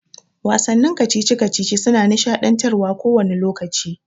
Wasannin kacici-kacici suna nishaɗantarwa kowani lokaci.